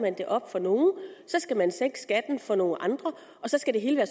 det op for nogle så skal man sænke skatten for nogle andre og så skal det hele